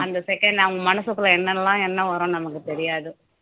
அந்த second அவுங்க மனசுக்குள்ள என்னலாம் எண்ணம் வரும் நமக்கு தெரியாது